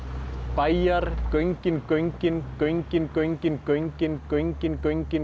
bæjar göngin göngin göngin göngin göngin göngin göngin